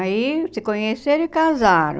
Aí se conheceram e casaram.